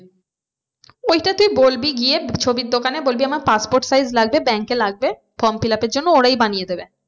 ওইটা তুই বলবি গিয়ে ছবির দোকানে বলবি আমার passport size লাগবে bank এ লাগবে form film up এর জন্য ওরাই বানিয়ে দেবে।